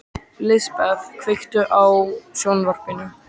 Lisbeth, kveiktu á sjónvarpinu.